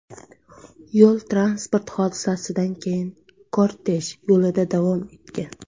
Yo‘l-transport hodisasidan keyin kortej yo‘lida davom etgan.